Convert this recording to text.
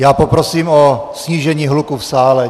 Já poprosím o snížení hluku v sále.